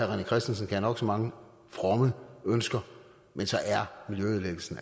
rené christensen have nok så mange fromme ønsker men så er miljøødelæggelsen